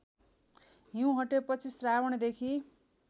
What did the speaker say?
हिँउ हटेपछि श्रावणदेखि